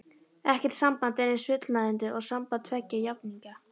Ekkert samband er eins fullnægjandi og samband tveggja jafningja.